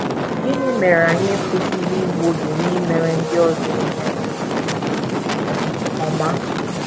Gịnị mere anyị ekwesịghị igbu oge n’imere ndị ọzọ ihe ọma?